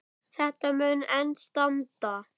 Met þetta mun enn standa.